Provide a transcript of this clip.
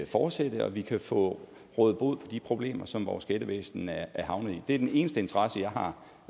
fortsætte så vi kan få rådet bod på de problemer som vores skattevæsen er havnet i det er den eneste interesse jeg har